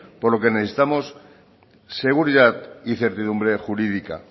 por lo que necesitamos seguridad y incertidumbre jurídica